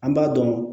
An b'a dɔn